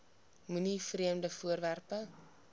moenie vreemde voorwerpe